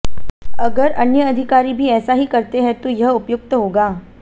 अगर अन्य अधिकारी भी ऐसा ही करते हैं तो यह उपयुक्त होगा